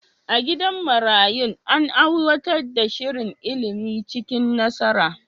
A gidan marayun, an aiwatar da shirin ilimi cikin nasara.